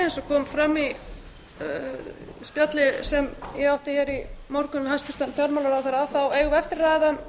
og kom fram í spjalli sem ég átti hér í morgun við hæstvirtan fjármálaráðherra eigum við eftir að ræða um